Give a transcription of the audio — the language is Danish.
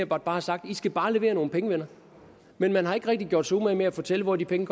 bare har sagt i skal bare levere nogle penge venner men man har ikke rigtig gjort sig umage med at fortælle hvor de penge